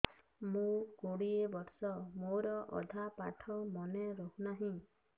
ମୋ କୋଡ଼ିଏ ବର୍ଷ ମୋର ଅଧା ପାଠ ମନେ ରହୁନାହିଁ